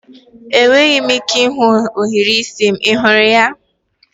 Enweghị m ike ịhụ ohiri isi m, ị hụrụ ya?